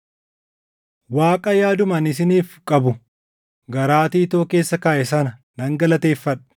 Waaqa yaaduma ani isiniif qabu garaa Tiitoo keessa kaaʼe sana nan galateeffadha.